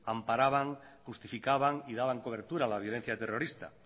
amparaban justificaban y daban cobertura a la violencia terrorista